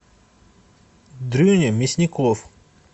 дрюня мясников